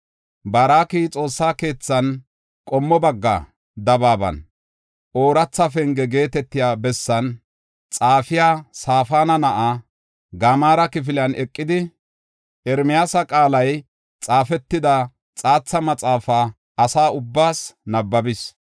Baaroki Xoossa keethan, qommo bagga dabaaban, Ooratha Penge geetetiya bessan, xaafiya Safaana na7aa, Gamaara kifiliyan eqidi, Ermiyaasa qaalay xaafetida xaatha maxaafa asa ubbaas nabbabis.